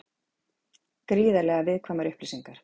Gríðarlega viðkvæmar upplýsingar